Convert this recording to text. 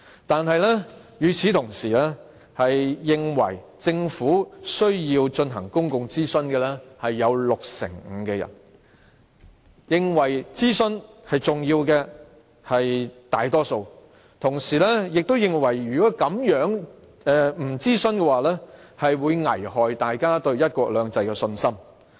但與此同時，六成五的人認為政府需要進行公眾諮詢，大多數人認為諮詢是重要的，同時亦認為如果不進行諮詢，將危害大家對"一國兩制"的信心。